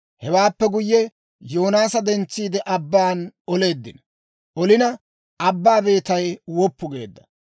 Hewaappe guyye, Yoonaasa dentsiide, abban oleeddino; olina abbaa beetay woppu geedda.